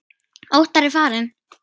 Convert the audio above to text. Óttar er farinn.